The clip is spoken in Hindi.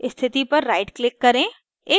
स्थिति पर right click करें